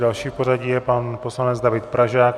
Další v pořadí je pan poslanec David Pražák.